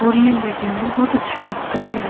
और ये देखने मे बोहोत अच्छा लगता है।